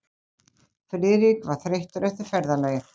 Friðrik var þreyttur eftir ferðalagið.